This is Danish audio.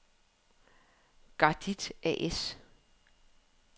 Gardit A/S